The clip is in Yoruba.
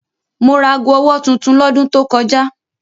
Mo ra ago-ọwọ́ tuntun lọ́dún tó kọjá